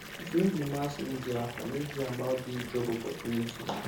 if no be mass media i no hear about dis job opportunity